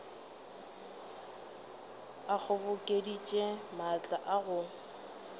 a kgobokeditše maatla a go